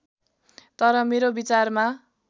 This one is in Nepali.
तर मेरो विचारमा